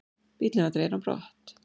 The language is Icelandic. Bíllinn var dreginn á brott.